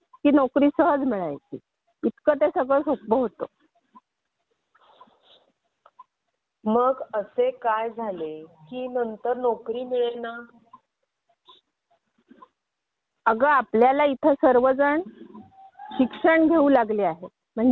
हो अगदी बरोबर आगा आई नाही का सांगते की तिच्याकडे केली म्हणजे 45. वर्षापूर्वी आयटीआय झालं असं म्हटलं की कोणत्याही मॅन्युफॅक्चरिंग कंपनी गेटवर गेला की नोकरी सहज मिळायची.